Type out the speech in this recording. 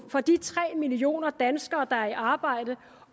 for de tre millioner danskere der er i arbejde